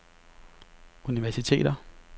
universiteter